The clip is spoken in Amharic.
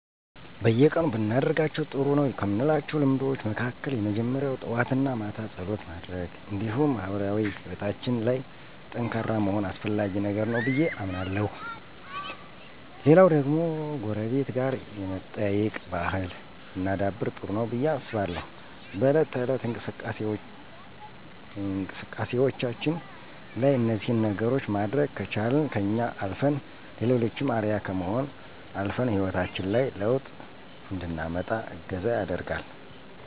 በየቀኑ ብናደርጋቸው ጥሩ ነው ከምላቸው ልምዶች መካከል የመጀመሪያው ጠዋት እና ማታ ፀሎት ማድረግ እንዲሁም ማህበራዊ ሕይወታችን ላይ ጠንካራ መሆን አስፈላጊ ነገር ነው ብዬ አምናለሁ። ሌላው ደግሞ ጎረቤት ጋር የመጠያየቅ ባህል ብናዳብር ጥሩ ነው ብዬ አስባለሁ። በእለት ተእለት እንቅስቃሴያችን ላይ እነዚህን ነገሮች ማድረግ ከቻልን ከኛ አልፈን ለሌሎችም አርአያ ከመሆንም አልፈን ሕይወታችን ላይ ለውጥ እንድናመጣ እገዛ ያደርጋል።